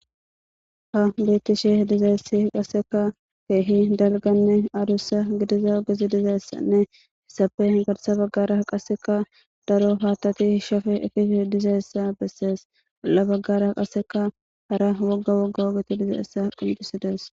ha bettishi dizayssi qasseka keehi dalganne adussa gidiza gizi dizayssanne hissape garsa baggara qasseka daro paatati shafe efisi dizayssa bessees balla baggara qasseka hara wogga wogga wogeti dizaessa quncisides